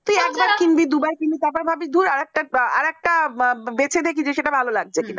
আরেকটা বেশি দেখি সেটা ভালো লাগছে কিনা